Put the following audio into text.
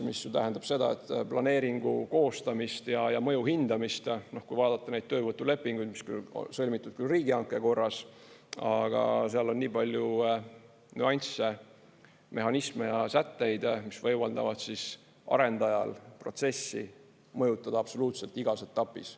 Mis ju tähendab seda, et planeeringu koostamist ja mõju hindamist, kui vaadata neid töövõtulepinguid, mis on sõlmitud küll riigihanke korras, aga seal on nii palju nüansse, mehhanisme ja sätteid, mis võimaldavad arendajal protsessi mõjutada absoluutselt igas etapis.